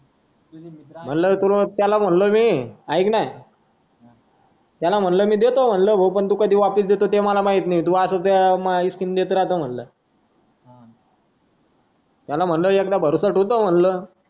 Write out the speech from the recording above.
म्हणालो तू त्याला म्हणालो मी आईकना त्याला म्हणलो मी देतो तू काढिवापास देतो ते मला माहित नाय तूअसेल तेव्हा त्याला म्हणाला एकदा भरोसा तु ठेव म्हणल